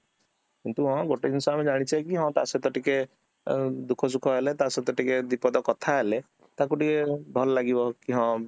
କିନ୍ତୁ ହଁ ଗୋଟେ ଜିନିଷ ଆମେ ଜାଣିଛେକି ହଁ ତା ସହିତ ଟିକେ ଅ ଦୁଖ ସୁଖ ହେଲେ ତା ସହିତ ଟିକେ ଦୁଇ ପଦ କଥା ହେଲେ ତାକୁ ଟିକେ ଭଲ ଲାଗିବ କି ହଁ